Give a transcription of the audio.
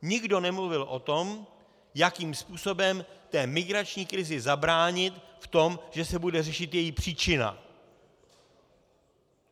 Nikdo nemluvil o tom, jakým způsobem té migrační krizi zabránit v tom, že se bude řešit její příčina.